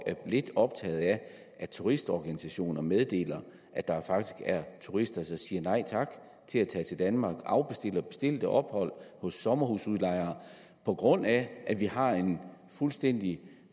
er lidt optaget af at turistorganisationer meddeler at der faktisk er turister der siger nej tak til at tage til danmark og afbestiller bestilte ophold hos sommerhusudlejere på grund af at vi har en fuldstændig